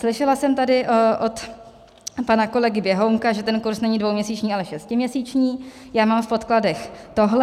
Slyšela jsem tady od pana kolegy Běhounka, že ten kurz není dvouměsíční, ale šestiměsíční, já mám v podkladech tohle.